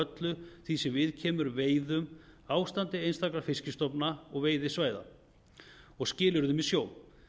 öllu því sem viðkemur veiðum ástandi einstakra fiskstofna og veiðisvæða og skilyrðum í sjó